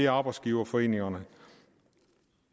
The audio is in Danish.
arbejdsgiverforeningerne